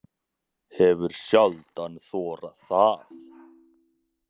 Hefur sjaldan þorað það.